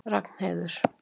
Ragnheiður